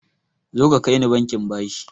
Zoka kaini bankin bashi